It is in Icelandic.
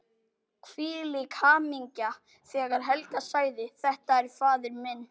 Hvílík hamingja þegar Helga sagði: Þetta er faðir minn!